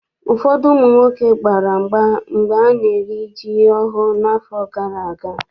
Ụfọdụ ụmụ nwoke gbara mgba mgbe ana-eri ji ọhụụ n'afọ gara aga.